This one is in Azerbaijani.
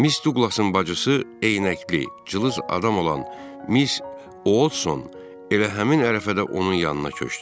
Miss Duqlasın bacısı eynəkli, cılız adam olan Miss Odson elə həmin ərəfədə onun yanına köçdü.